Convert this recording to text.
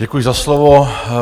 Děkuji za slovo.